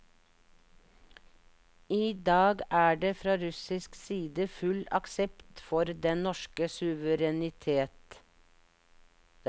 I dag er det fra russisk side full aksept for den norske suverenitet.